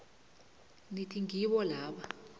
nithi ngibo laba